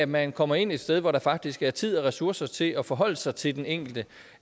man kommer ind et sted hvor der faktisk er tid og ressourcer til at forholde sig til den enkelte